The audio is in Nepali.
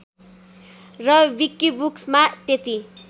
र विकिबुक्समा त्यति